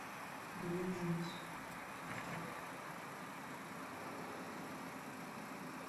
дуэйн джонс актер